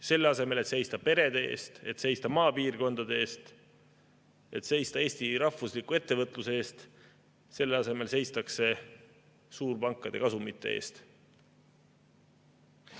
Selle asemel, et seista perede eest, seista maapiirkondade eest, seista Eesti rahvusliku ettevõtluse eest, seistakse suurpankade kasumite eest.